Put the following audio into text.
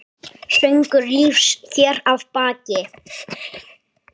Söngur lífs hér að baki.